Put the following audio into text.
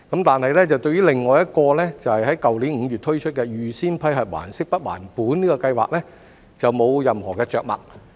但是，對於另一個在去年5月推出的預先批核還息不還本的計劃則沒有任何着墨。